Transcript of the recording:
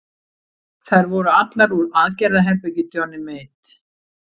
Þær voru allar úr aðgerðaherbergi Johnny Mate.